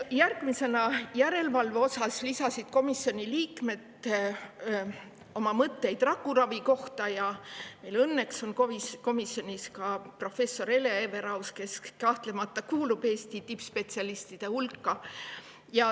Järgmisena, järelevalve osas lisasid komisjoni liikmed oma mõtteid rakuravi kohta ja meil on õnneks komisjonis ka professor Hele Everaus, kes kahtlemata kuulub Eesti tippspetsialistide hulka.